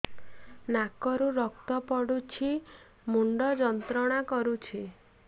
ନାକ ରୁ ରକ୍ତ ପଡ଼ୁଛି ମୁଣ୍ଡ ଯନ୍ତ୍ରଣା କରୁଛି